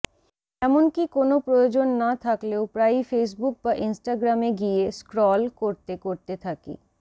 এমনকী কোনও প্রয়োজন না থাকলেও প্রায়ই ফেসবুক বা ইনস্টাগ্রামে গিয়ে স্ক্রল করতে করতে থাকি